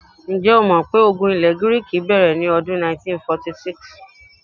Ǹjẹ́́ o mọ̀ pé ogun ilẹ̀ Gíríìkì bẹ̀rẹ̀ ní ọdún 1946?